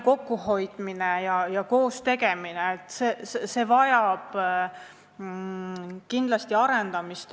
Kokkuhoidmine ja koostegemine – need väärtused vajavad kindlasti arendamist.